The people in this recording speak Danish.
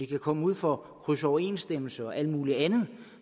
komme ud for krydsoverensstemmelser og alt muligt andet